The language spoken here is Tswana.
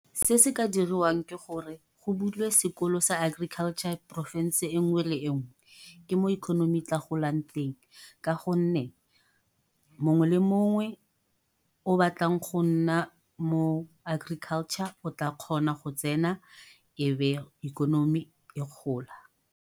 Se se ka diriwang ke gore go bulwe sekolo sa agriculture porofense engwe le engwe. Ke mo ikonomi tla golang teng. Ka gonne mongwe le mongwe o batlang go nna mo agriculture o tla kgona go tsena, ebe ikonomi e gola.